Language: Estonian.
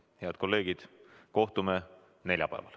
Head kolleegid, kohtume neljapäeval.